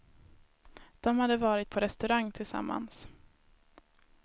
De hade varit på restaurang tillsammans.